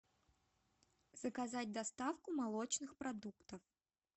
заказать доставку молочных продуктов